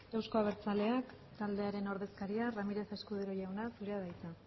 euzko abertzaleak taldearen ordezkaria ramírez escudero jauna zurea da hitza